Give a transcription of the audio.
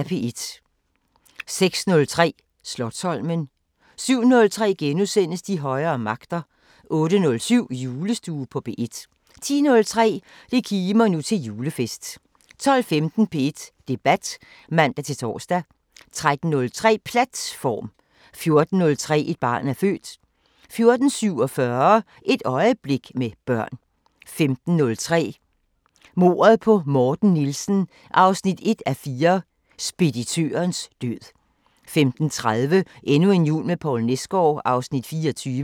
06:03: Slotsholmen 07:03: De højere magter * 08:07: Julestue på P1 10:03: Det kimer nu til julefest 12:15: P1 Debat (man-tor) 13:03: Platt-form 14:03: Et barn er født 14:47: Et øjeblik med børn 15:03: Mordet på Morten Nielsen 1:4 – Speditørens død 15:30: Endnu en jul med Poul Nesgaard (Afs. 24)